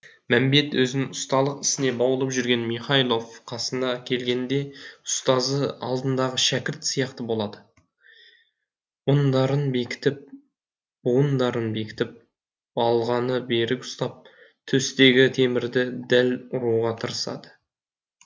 мәмбет өзін ұсталық ісіне баулып жүрген михайлов қасына келгенде ұстазы алдындағы шәкірт сияқты болады буындарын бекітіп балғаны берік ұстап төстегі темірді дәл ұруға тырысады